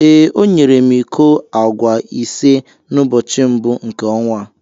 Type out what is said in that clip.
ee, ọ nyere m iko agwa ise n’ụbọchị mbụ nke ọnwa a